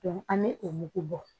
an bɛ o mugu bɔ